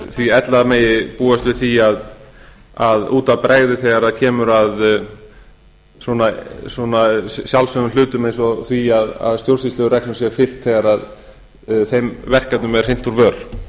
því ella megi búast við því að út af bregði þegar kemur að sjálfsögðum hlutum eins og því að stjórnsýslureglum sé fylgt þegar þeim verkefnum er hrint úr vör